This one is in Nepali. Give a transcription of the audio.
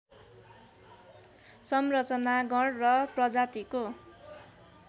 संरचना गण र प्रजातिको